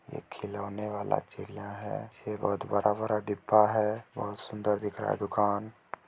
ऐ खिलौने वाला चिड़िया है पीछे बहोत बड़ा-बड़ा डिब्बा है बहोत सुन्दर दिख रहा है दुकान।